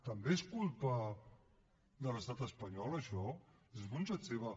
també és culpa de l’estat espanyol això és responsabilitat seva